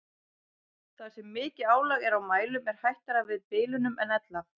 Þar sem mikið álag er á mælum er hættara við bilunum en ella.